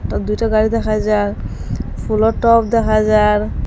দুইটা গাড়ি দেখা যার ফুলের টব দেখা যার।